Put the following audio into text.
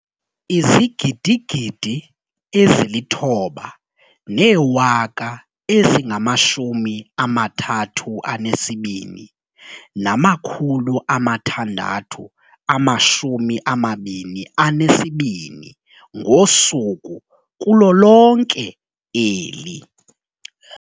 9 032 622 ngosuku kulo lonke eli.